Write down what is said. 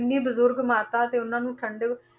ਇੰਨੀ ਬਜ਼ੁਰਗ ਮਾਤਾ ਤੇ ਉਹਨਾਂ ਨੂੰ ਠੰਢੇ